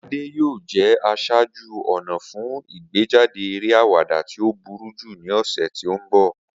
Ade yoo jẹ aṣaaju-ọna fun igbejade ere awada ti o buruju ni ọsẹ ti n bọ.